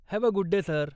Have a good day, sir!